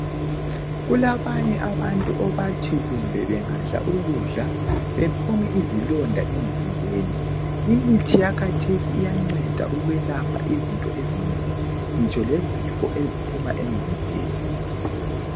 Kulabanye abantu abathi kumbe bengadla ukudla baphume izilonda emzimbeni. Imithi yakhathesi iyanceda ukwelapha izinto ezinengi ngitsho lezifo eziphuma emzimbeni.